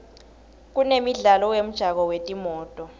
kunemidlalo wemjako wetimoto